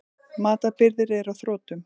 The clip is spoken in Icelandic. Matarbirgðir eru á þrotum.